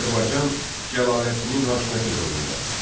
Azərbaycan Cəlaləddinin hakimiyyəti dövründə.